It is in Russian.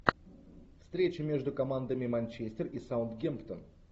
встреча между командами манчестер и саутгемптон